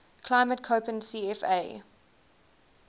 climate koppen cfa